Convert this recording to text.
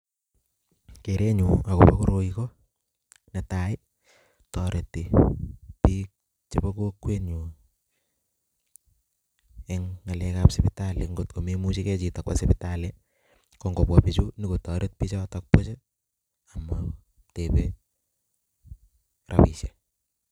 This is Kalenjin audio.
Kerenyu akobo koroi ko netai ii, toreti piik chebo kokwenyu eng ngalekab sipitali, ngot ko memuchikei chito kwo sipitali, ko ngobwa pichu nokotoret pichoto buch amatebei rabiisiek.